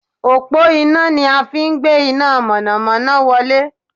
Òpó iná ni a fi n gbé iná mọ̀nọ̀mọ́nọ́ wolé